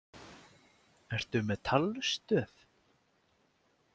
Ertu með talstöð?